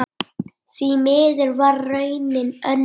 Því miður varð raunin önnur.